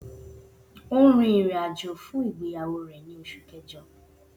O n rin irin-ajo fun igbeyawo rẹ ni Oṣu Kẹjọ